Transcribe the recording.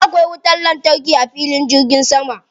Kullum akwai wutar lantarki a filin jirgin sama.